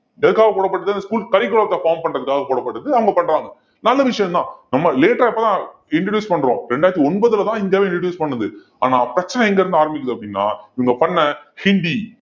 எதுக்காக போடப்பட்டது school curriculum த்தை form பண்றதுக்காக போடப்பட்டது அவங்க பண்றாங்க நல்ல விஷயம்தான் நம்ம late ஆ இப்பதான் introduce பண்றோம் ரெண்டாயிரத்தி ஒன்பதுலதான் இந்தியாவே introduce பண்ணுது ஆனா பிரச்சனை எங்கிருந்து ஆரம்பிக்குது அப்படின்னா இவங்க பண்ண ஹிந்தி